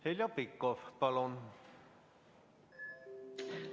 Heljo Pikhof, palun!